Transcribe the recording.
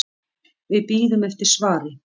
Við bíðum eftir svari.